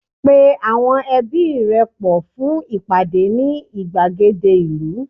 pe awọn ẹbi rẹ pọ fún ìpàdé ni igbagede ìlú